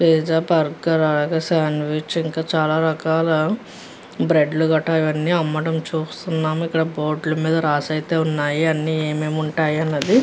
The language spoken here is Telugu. పిజ్జా బర్గర్ శాండ్విచ్ ఇంకా చాల రకాల బ్రేడ్ లు కట్టా అవ్వనీ అమ్మడం చూస్తున్నాము ఇక్కడ బోర్డు ల మీద రాసైతే ఉన్నాయి అన్నీ ఏమేమి వుంటాయి అన్నది.